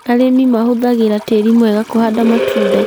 Arĩmi mahũthagĩra tĩri mwega kũhanda matunda